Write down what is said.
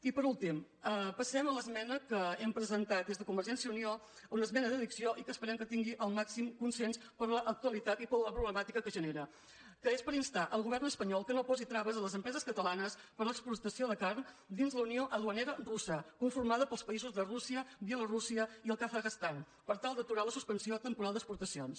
i per últim passarem a l’esmena que hem presentat des de convergència i unió una esmena d’addició i que esperem que tingui el màxim consens per l’actua·litat i per la problemàtica que genera que és per instar el govern espanyol que no posi traves a les empreses catalanes per a l’exportació de carn dins la unió du·anera russa conformada pels països de rússia bie·lorússia i el kazakhstan per tal d’aturar la suspensió temporal d’exportacions